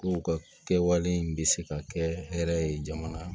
Ko u ka kɛwale bɛ se ka kɛ hɛrɛ ye jamana